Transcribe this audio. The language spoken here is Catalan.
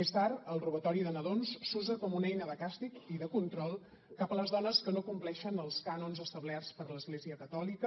més tard el robatori de nadons s’usa com una eina de càstig i de control cap a les dones que no compleixen els cànons establerts per l’església catòlica